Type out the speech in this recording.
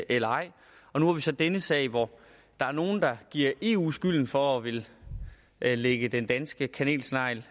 eller ej og nu har vi så denne sag hvor der er nogle der giver eu skylden for at ville lægge den danske kanelsnegl